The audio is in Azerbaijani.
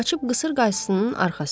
Qaçıb qısır qaysının arxasına.